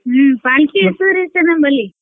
ಹ್ಮ್ पालकी ನಮ್ಮಲ್ಲಿ.